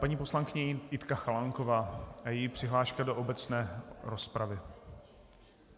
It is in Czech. Paní poslankyně Jitka Chalánková a její přihláška do obecné rozpravy.